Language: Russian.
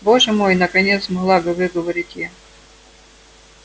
боже мой наконец смогла выговорить я